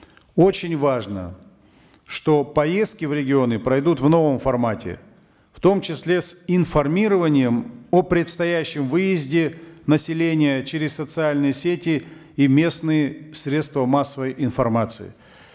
очень важно что поездки в регионы пройдут в новом формате в том числе с информированием о предстоящем выезде населения через социальные сети и местные средства массовой информации